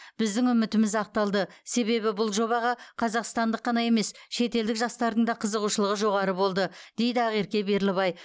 біздің үмітіміз ақталды себебі бұл жобаға қазақстандық қана емес шетелдік жастардың да қызығушылығы жоғары болды дейді ақерке берлібай